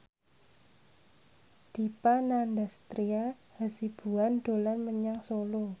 Dipa Nandastyra Hasibuan dolan menyang Solo